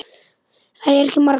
Þær eru ekki margar.